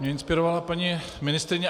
Mě inspirovala paní ministryně.